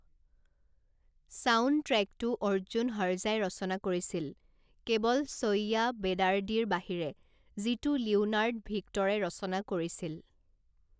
ছাউণ্ডট্ৰেকটো অৰ্জুন হৰজাই ৰচনা কৰিছিল কেৱল চৈয়্য়া বেদাৰ্ডিৰ বাহিৰে, যিটো লিওনাৰ্ড ভিক্টৰে ৰচনা কৰিছিল।